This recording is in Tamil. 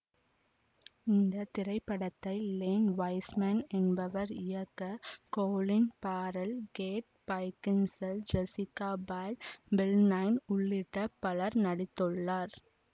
இந்த திரைப்படத்தை லென் வைஸ்மேன் என்பவர் இயக்க Colin Farrell Kate Beckinsale Jessica Biel Bill Nighy உள்ளிட்ட பலர் நடித்துள்ளார்